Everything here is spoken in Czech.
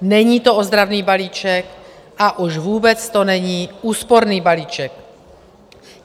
Není to ozdravný balíček a už vůbec to není úsporný balíček.